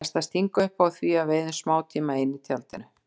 Best að stinga upp á því að við eyðum smátíma ein í tjaldinu.